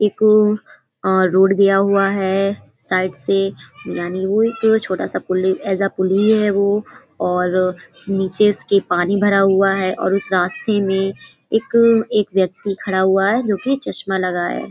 एक अ रोड गया हुआ है साइड से यानी वो एक छोटा सा पुल है। पुल ही है वो और नीचे उसके पानी भरा हुआ है। और उस रास्ते में एक एक व्यक्ति खडा हुआ है जो कि चश्मा लगाया है।